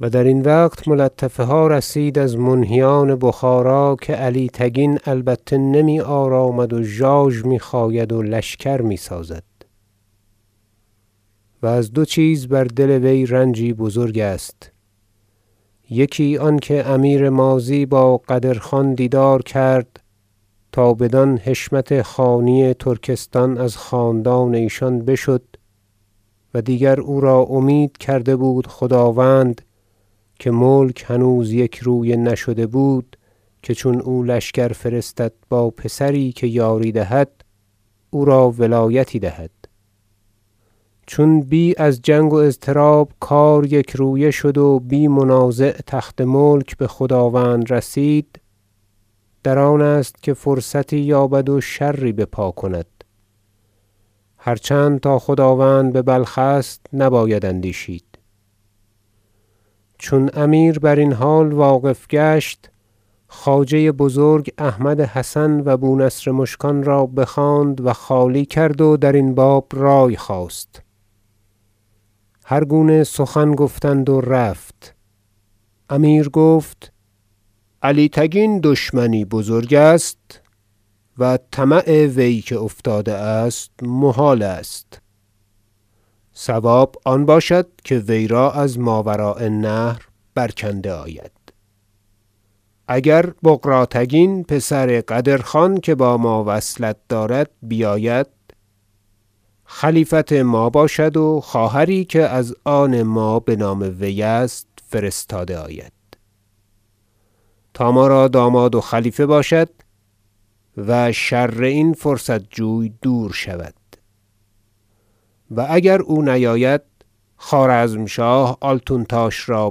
و در این وقت ملطفه ها رسید از منهیان بخارا که علی تگین البته نمی آرامد و ژاژ می خاید و لشکر می سازد و از دو چیز بر دل وی رنجی بزرگ است یکی آنکه امیر ماضی با قدرخان دیدار کرد تا بدان حشمت خانی ترکستان از خاندان ایشان بشد و دیگر او را امید کرده بود خداوند که ملک هنوز یک رویه نشده بود که چون او لشکر فرستد با پسری که یاری دهد او را ولایتی دهد چون بی از جنگ و اضطراب کار یکرویه شد و بی منازع تخت ملک بخداوند رسید در آن است که فرصتی یابد و شری بپا کند هر چند تا خداوند ببلخ است نباید اندیشید چون امیر بر این حال واقف گشت خواجه بزرگ احمد حسن و بونصر مشکان را بخواند و خالی کرد و درین باب رأی خواست هرگونه سخن گفتند و رفت امیر گفت علی تگین دشمنی بزرگ است و طمع وی که افتاده است محال است صواب آن باشد که وی را از ماوراء النهر برکنده آید اگر بغراتگین پسر قدرخان که با ما وصلت دارد بیاید خلیفت ما باشد و خواهری که از آن ما بنام وی است فرستاده آید تا ما را داماد و خلیفه باشد و شر این فرصت جوی دور شود و اگر او نیاید خوارزمشاه آلتونتاش را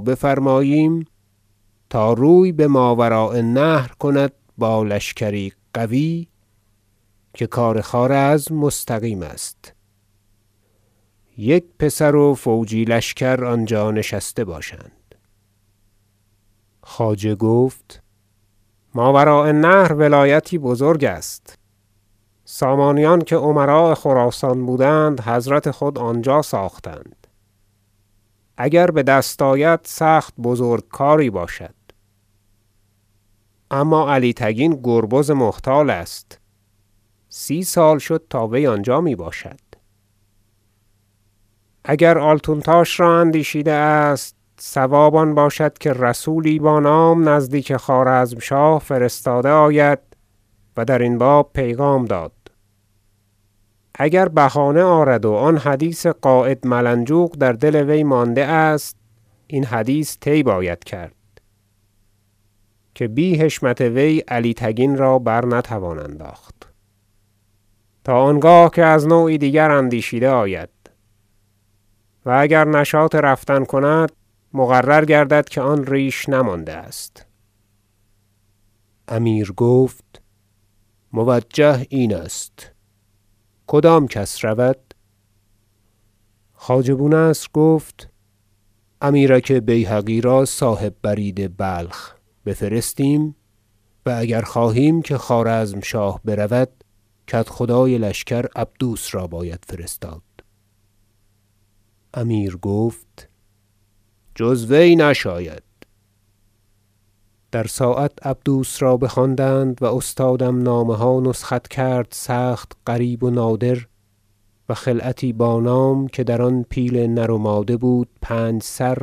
بفرماییم تا روی بماوراء النهر کند با لشکری قوی که کار خوارزم مستقیم است یک پسر و فوجی لشکر آنجا نشسته باشند خواجه گفت ماوراء النهر ولایتی بزرگ است سامانیان که امراء خراسان بودند حضرت خود آنجا ساختند اگر بدست آید سخت بزرگ کاری باشد اما علی تگین گربز محتال است سی سال شد تا وی آنجا میباشد اگر آلتونتاش را اندیشیده است صواب آن باشد که رسولی با نام نزدیک خوارزمشاه فرستاده آید و درین باب پیغام داد اگر بهانه آرد و آن حدیث قاید ملنجوق در دل وی مانده است این حدیث طی باید کرد که بی حشمت وی علی تگین را برنتوان انداخت تا آنگاه که از نوعی دیگر اندیشیده آید و اگر نشاط رفتن کند مقرر گردد که آن ریش نمانده است امیر گفت موجه این است کدام کس رود خواجه بونصر گفت امیرک بیهقی را صاحب برید بلخ بفرستیم و اگر خواهیم که خوارزمشاه برود کدخدای لشکر عبدوس را باید فرستاد امیر گفت جزوی نشاید در ساعت عبدوس را بخواندند و استادم نامه ها نسخت کرد سخت غریب و نادر و خلعتی با نام که در آن پیل نر و ماده بود پنج سر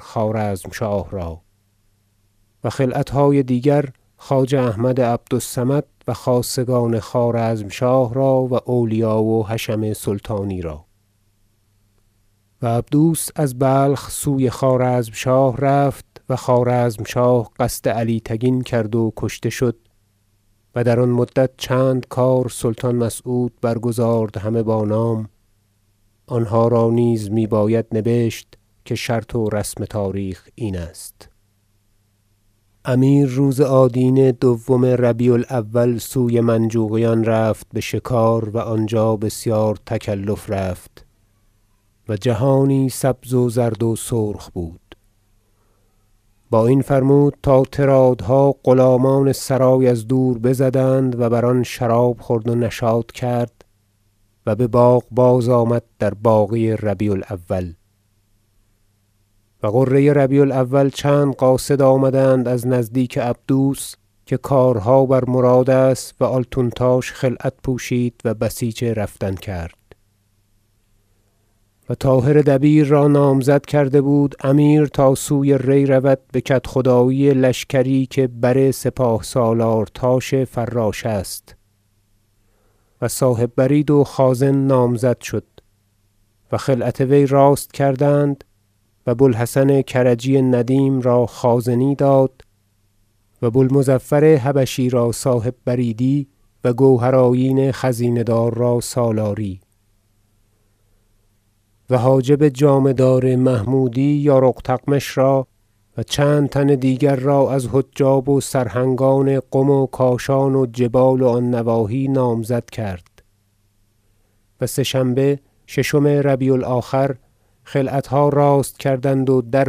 خوارزمشاه را و خلعتهای دیگر خواجه احمد عبد الصمد و خاصگان خوارزمشاه را و اولیا و حشم سلطانی را و عبدوس از بلخ سوی خوارزمشاه رفت و خوارزمشاه قصد علی تگین کرد و کشته شد و در آن مدت چند کار سلطان مسعود برگزارد همه با نام آنها را نیز میباید نبشت که شرط و رسم تاریخ این است امیر روز آدینه دوم ربیع الاول سوی منجوقیان رفت بشکار و آنجا بسیار تکلف رفت و جهانی سبز و زرد و سرخ بود با این فرمود تا طرادها غلامان سرای از دور بزدند و بر آن شراب خورد و نشاط کرد و بباغ بازآمد در باقی ربیع الاول و غره ربیع الآخر چند قاصد آمدند از نزدیک عبدوس که کارها بر مراد است و آلتونتاش خلعت پوشید و بسیج رفتن کرد و طاهر دبیر را نامزد کرده بود امیر تا سوی ری رود بکدخدایی لشکری که بر سپاه سالار تاش فراش است و صاحب برید و خازن نامزد شد و خلعت وی راست کردند و بوالحسن کرجی ندیم را خازنی داد و بوالمظفر حبشی را صاحب بریدی و گوهر آیین خزینه دار را سالاری و حاجب جامه دار محمودی یارق تغمش را و چند تن دیگر را از حجاب و سرهنگان قم و کاشان و جبال و آن نواحی نامزد کرد و سه شنبه ششم ربیع الآخر خلعتها راست کردند و در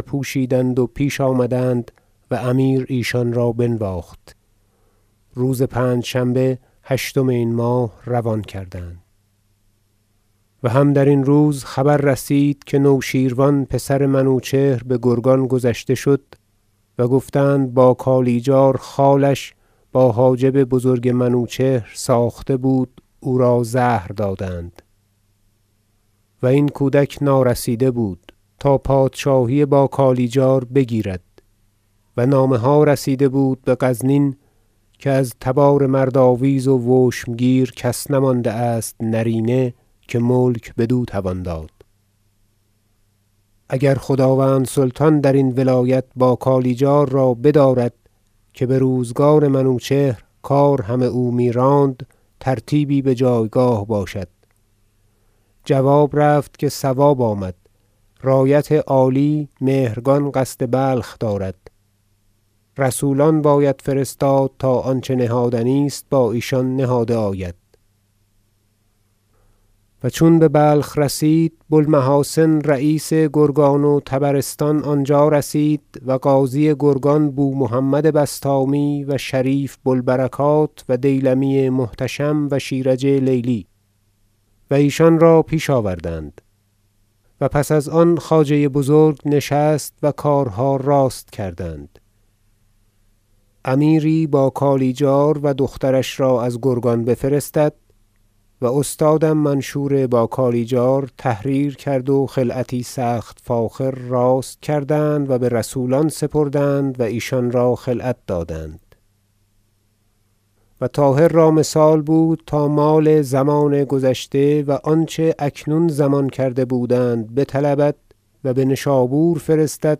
پوشیدند و پیش آمدند و امیر ایشان را بنواخت روز پنجشنبه هشتم این ماه روان کردند و هم درین روز خبر رسید که نوشیروان پسر منوچهر بگرگان گذشته شد و گفتند با کالیجارخالش با حاجب بزرگ منوچهر ساخته بود و او را زهر دادند- و این کودک نارسیده بود- تا پادشاهی با کالیجار بگیرد و نامه ها رسیده بود بغزنین که از تبار مرد آویزو وشمگیر کس نمانده است نرینه که ملک بدو توان داد اگر خداوند سلطان درین ولایت با کالیجار را بدارد که بروزگار منوچهر کار همه او میراند ترتیبی بجایگاه باشد جواب رفت که صواب آمد رایت عالی مهرگان قصد بلخ دارد رسولان باید فرستاد تا آنچه نهادنی است با ایشان نهاده آید و چون ببلخ رسید بوالمحاسن رییس گرگان و طبرستان آنجا رسید و قاضی گرگان بومحمد بسطامی و شریف بوالبرکات و دیلمی محتشم و شیرج لیلی و ایشان را پیش آوردند و پس از آن خواجه بزرگ نشست و کارها راست کردند امیری باکالیجار و دخترش را از گرگان بفرستد و استادم منشور با کالیجار تحریر کرد و خلعتی سخت فاخر راست کردند و برسولان سپردند و ایشان را خلعت دادند و طاهر را مثال بود تا مال ضمان گذشته و آنچه اکنون ضمان کرده بودند بطلبد و بنشابور فرستد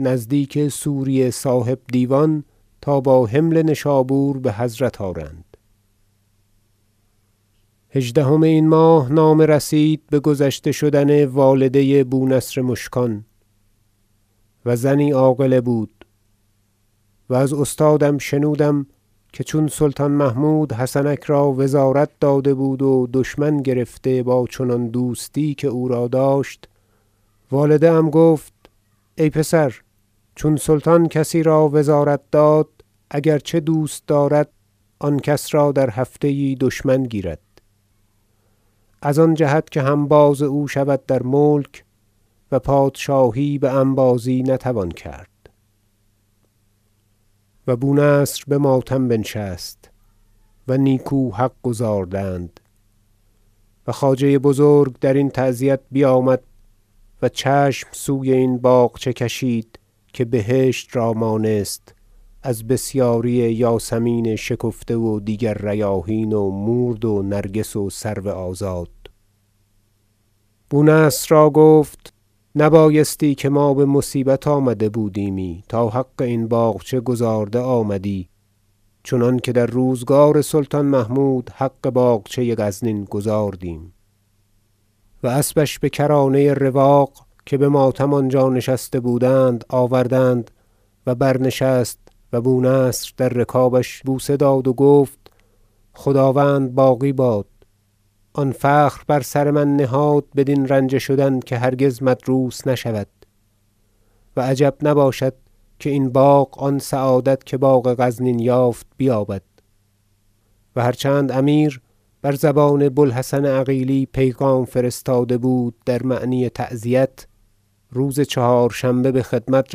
نزدیک سوری صاحب دیوان تا با حمل نشابور بحضرت آرند هژدهم این ماه نامه رسید بگذشته شدن والده بونصر مشکان و زنی عاقله بود و از استادم شنودم که چون سلطان محمود حسنک را وزارت داده بود و دشمن گرفته با چنان دوستی که او را داشت والده ام گفت ای پسر چون سلطان کسی را وزارت داد اگر چه دوست دارد آن کس را در هفته یی دشمن گیرد از آن جهت که همباز او شود در ملک و پادشاهی بانبازی نتوان کرد و بونصر بماتم بنشست و نیکو حق گزاردند و خواجه بزرگ درین تعزیت بیامد و چشم سوی این باغچه کشید که بهشت را مانست از بسیاری یاسمین شکفته و دیگر ریاحین و مورد و نرگس و سرو آزاد بونصر را گفت نبایستی که بما بمصیت آمده بودیمی تا حق این باغچه گزارده آمدی چنانکه در روزگار سلطان محمود حق باغچه غزنین گزاردیم و اسبش بکرانه رواق که بماتم آنجا نشسته بودند آوردند و برنشست و بونصر در رکابش بوسه داد و گفت خداوند باقی باد آن فخر بر سر من نهاد بدین رنجه شدن که هرگز مدروس نشود و عجب نباشد که این باغ آن سعادت که باغ غزنین یافت بیابد و هر چند امیر بر زبان بوالحسن عقیلی پیغام فرستاده بود در معنی تعزیت روز چهارشنبه بخدمت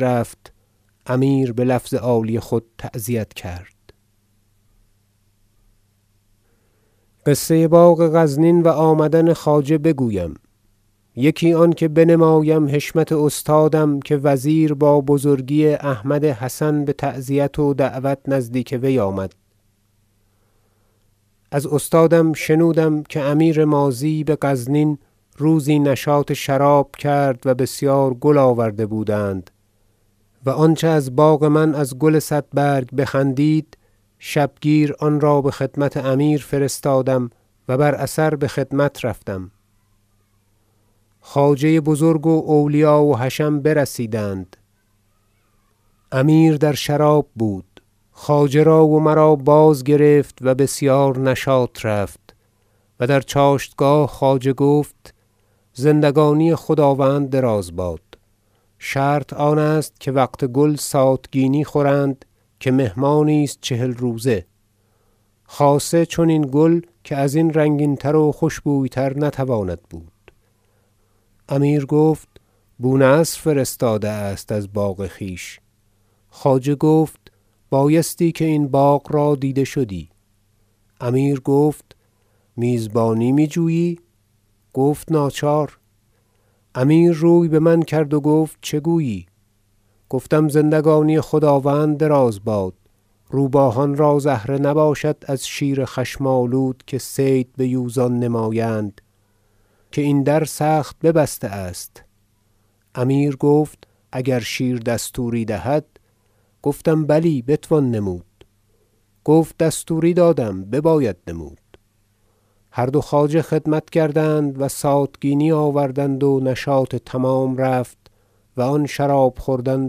رفت امیر بلفظ عالی خود تعزیت کرد قصه باغ غزنین و آمدن خواجه بگویم یکی آنکه بنمایم حشمت استادم که وزیر با بزرگی احمد حسن بتعزیت و دعوت نزدیک وی آمد از استادم شنودم که امیر ماضی بغزنین روزی نشاط شراب کرد و بسیار گل آورده بودند و آنچه از باغ من از گل صد برگ بخندید شبگیر آن را بخدمت امیر فرستادم و بر اثر بخدمت رفتم خواجه بزرگ و اولیا و حشم برسیدند امیر در شراب بود خواجه را و مرا بازگرفت و بسیار نشاط رفت و در چاشتگاه خواجه گفت زندگانی خداوند دراز باد شرط آن است که وقت گل ساتگینی خورند که مهمانی است چهل روزه خاصه چنین گل که ازین رنگین تر و خوشبوی تر نتواند بود امیر گفت بونصر فرستاده است از باغ خویش خواجه گفت بایستی که این باغ را دیده شدی امیر گفت میزبانی میجویی گفت ناچار امیر روی بمن کرد گفت چه گویی گفتم زندگانی خداوند دراز باد روباهان را زهره نباشد از شیر خشم آلود که صید بیوزان نمایند که این در سخت ببسته است امیر گفت اگر شیر دستوری دهد گفتم بلی بتوان نمود گفت دستوری دادم بباید نمود هر دو خواجه خدمت کردند و ساتگینی آوردند و نشاط تمام رفت و آن شراب خوردن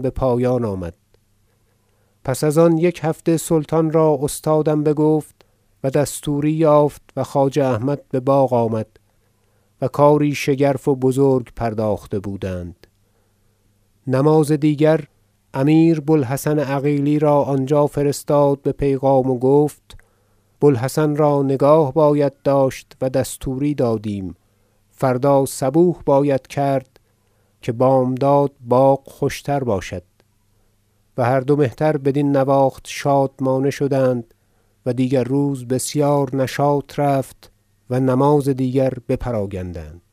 بپایان آمد پس از یک هفته سلطان را استادم بگفت و دستوری یافت و خواجه احمد بباغ آمد و کاری شگرف و بزرگ پرداخته بودند نماز دیگر امیر ابو الحسن عقیلی را آنجا فرستاد به پیغام و گفت بو الحسن را نگاه باید داشت و دستوری دادیم فردا صبوح باید کرد که بامداد باغ خوشتر باشد و هر دو مهتر بدین نواخت شادمانه شدند و دیگر روز بسیار نشاط رفت و نماز دیگر بپراگندند